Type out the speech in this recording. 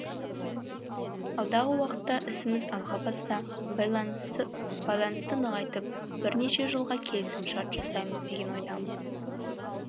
алдағы уақытта ісіміз алға басса байланысты нығайтып бірнеше жылға келісімшарт жасаймыз деген ойдамын